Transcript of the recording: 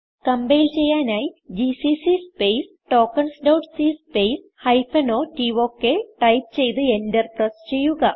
compile ചെയ്യാനായി GCC space tokens dot c space hyphen o tok type ചെയ്ത് Enter press ചെയ്യുക